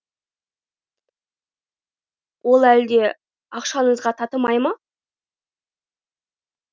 ол әлде ақшаңызға татымай ма